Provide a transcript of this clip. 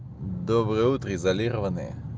доброе утро изолированные